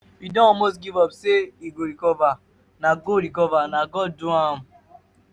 we don almost give up hope say he go recover. na go recover. na god do am.